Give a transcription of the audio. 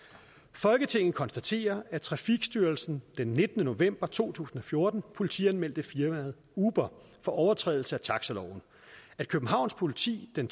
folketinget konstaterer at trafikstyrelsen den nittende november to tusind og fjorten politianmeldte firmaet uber for overtrædelse af taxiloven at københavns politi den